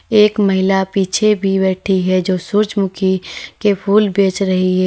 एक महिला पीछे भी बैठी है जो सूरजमुखी के फूल बेच रही है।